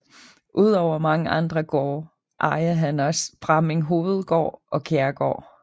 Udover mange andre gårde ejer han også Bramming Hovedgård og Kjærgaard